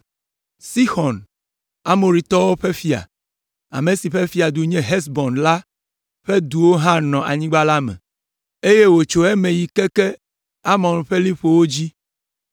Sixɔn, Amoritɔwo ƒe fia, ame si ƒe fiadu nye Hesbon la ƒe duwo hã nɔ anyigba la me, eye wòtso eme yi keke Amon ƒe liƒowo dzi.